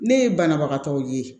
Ne ye banabagatɔw ye